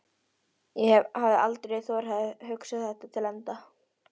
ég hafði aldrei þorað að hugsa það til enda.